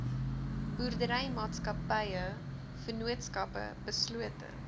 boerderymaatskappye vennootskappe beslote